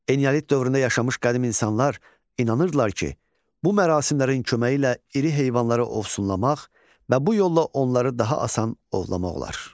Eneolit dövründə yaşamış qədim insanlar inanırdılar ki, bu mərasimlərin köməyi ilə iri heyvanları ovsunlamaq və bu yolla onları daha asan ovlamaq olar.